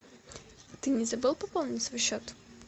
ты не забыл пополнить свой счет